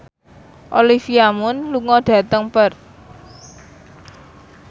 Olivia Munn lunga dhateng Perth